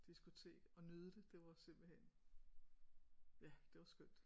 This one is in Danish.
Diskotek og nyde det det var simpelthen ja det var skønt